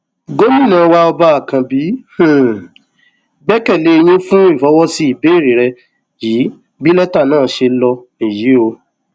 gomina wa ọba àkànbí um gbẹkẹ lé yín fún ìfọwọsí ìbéèrè rẹ yìí bí lẹtà náà ṣe um ló níyì o